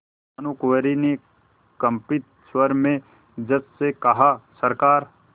भानुकुँवरि ने कंपित स्वर में जज से कहासरकार